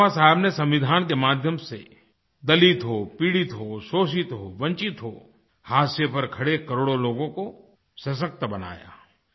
बाबा साहेब ने सविंधान के माध्यम से दलित हो पीड़ित हो शोषित हो वंचित हो हाशिये पर खड़े करोड़ों लोगों को सशक्त बनाया